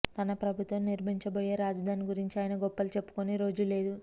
తన ప్రభుత్వం నిర్మించబోయే రాజధాని గురించి ఆయన గొప్పలు చెప్పుకోని రోజు లేదు